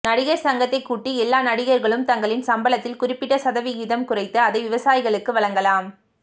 நடிகர் சங்கத்தைக் கூட்டி எல்லா நடிகர்களும் தங்களின் சம்பளத்தில் குறிப்பிட்ட சதவிகிதம் குறைத்து அதை விவசாயிகளுக்கு வழங்கலாம